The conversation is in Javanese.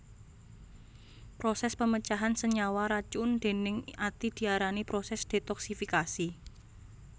Prosès pamecahan senyawa racun déning ati diarani prosès detoksifikasi